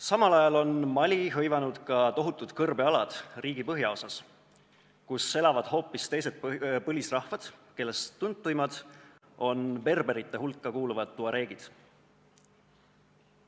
Samal ajal on Mali hõivanud tohutud kõrbealad riigi põhjaosas, kus elavad hoopis teised põlisrahvad, kellest tuntumad on berberite hulka kuuluvad tuareegid.